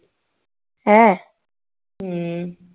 ਹੈਂ